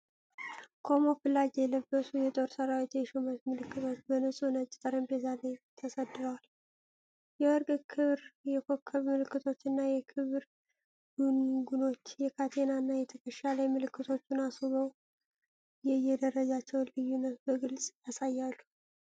ካሞፍላጅ የለበሱ የጦር ሠራዊት የሹመት ምልክቶች በንጹህ ነጭ ጠረጴዛ ላይ ተሰድረዋል። የወርቅ ክር የኮከብ ምልክቶች እና የክብር ጉንጉኖች፣ የካቴናና የትከሻ ላይ ምልክቶቹን አስውበው፣ የየደረጃቸውን ልዩነት በግልጽ ያሳያሉ።